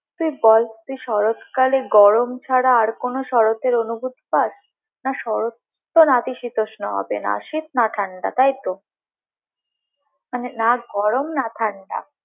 তুই বল শরৎকালে তুই গরম ছাড়া কোনো শরৎয়ের অনুভূতি পাস? না শরৎ তো নাতিশীতোষ্ণ হবে না শীত না ঠান্ডা, তাই তো মানে না গরম না ঠান্ডা।